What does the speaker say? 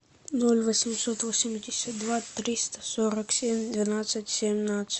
ноль восемьсот восемьдесят два триста сорок семь двенадцать семнадцать